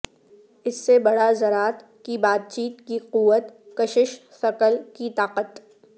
اس سے بڑا ذرات کی بات چیت کی قوت کشش ثقل کی طاقت